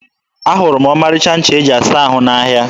Ahụrụ m ọmarịcha ncha e ji asa ahụ n'ahịa.